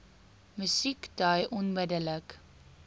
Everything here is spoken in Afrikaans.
musiek dui duidelik